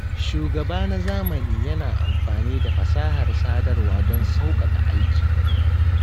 Shugaba na zamani yana amfani da fasahar sadarwa don sauƙaƙa aiki